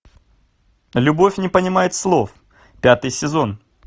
любовь не понимает слов пятый сезон